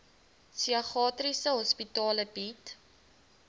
psigiatriese hospitale bied